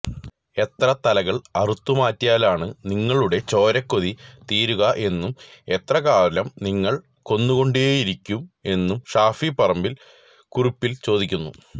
എത്ര തലകൾ അറുത്തുമാറ്റിയാലാണ് നിങ്ങളുടെ ചോരക്കൊതി തീരുക എന്നും എത്രകാലം നിങ്ങൾ കൊന്നുകൊണ്ടേയിരിക്കും എന്നും ഷാഫി പറമ്പിൽ കുറിപ്പില് ചോദിക്കുന്നു